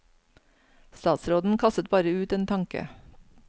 Statsråden kastet bare ut en tanke.